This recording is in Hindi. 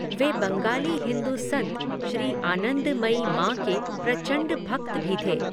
वे बंगाली हिंदू संत श्री आनंदमयी मां के 'प्रचंड भक्त' भी थे।